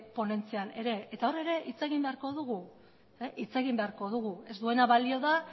ponentzian ere eta hor ere hitz egin beharko dugu ez duena balio da